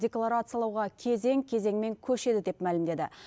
декларациялауға кезең кезеңмен көшеді деп мәлімдеді